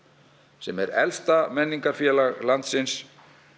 sem er elsta landsins